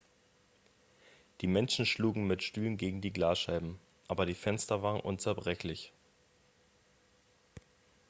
die menschen schlugen mit stühlen gegen die glasscheiben aber die fenster waren unzerbrechlich